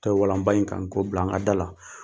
Ta walanba in kan , k'o bila an ka da la.